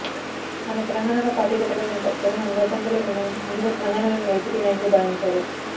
ఆమె తెలంగాణలో పార్టీ పెట్టడం వెనుక జగన్ అండదండలు ఉన్నాయని ముందుగా తెలంగాణలోని వైసీపీ నాయకులు భావించారుు